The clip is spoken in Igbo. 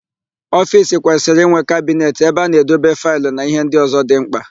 Ofiisi kwesịrị ịnwe kabinet ebe a na-edebe faịlụ na íhé ndị ọ̀zọ́ dị ḿkpà.